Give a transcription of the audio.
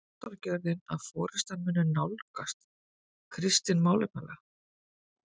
En þýðir sáttagjörðin að forystan muni nálgast Kristin málefnalega?